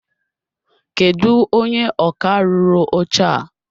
Kedụ onye ọkà rụrụ oche a?